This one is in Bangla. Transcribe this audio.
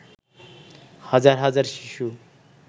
হাজার হাজার শিশু